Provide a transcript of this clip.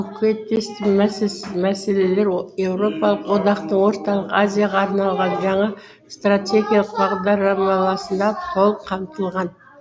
көкейтесті мәселелер еуропалық одақтың орталық азияға арналған жаңа стратегиялық бағдараламасында толық қамтылған